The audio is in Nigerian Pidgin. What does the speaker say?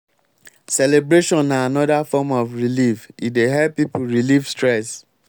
celebration na anoda form of relieve e dey help pipo relieve stress